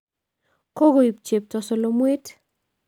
Kokoib chepto solomwet